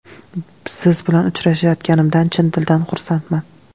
Siz bilan uchrashayotganimdan chin dildan xursandman.